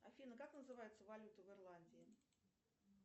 афина как называется валюта в ирландии